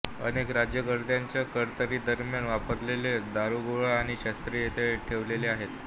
अनेक राज्यकर्त्यांच्या कारकीर्दीदरम्यान वापरलेले दारुगोळा आणि शस्त्रे येथे ठेवलेले आहेत